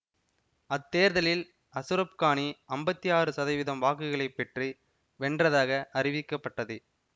அத்தேர்தலில் அசுர கானி அம்பத்தி ஆறு சதவீதம் வாக்குகளை பெற்று வென்றதாக அறிவிக்கப்பட்டது